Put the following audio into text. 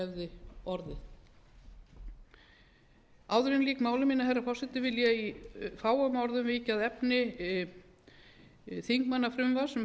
hefði orðið áður en ég lýk máli mínu herra forseti vil ég í fáum orðum víkja að efni þingmannafrumvarps